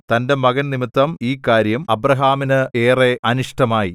തന്റെ മകൻ നിമിത്തം ഈ കാര്യം അബ്രാഹാമിന് ഏറെ അനിഷ്ടമായി